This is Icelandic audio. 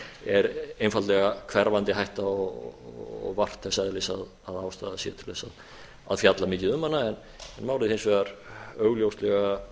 er einfaldlega hverfandi hætta og vart þess eðlis að ástæða sé til þess a fjalla mikið um hana en málið hins vegar augljóslega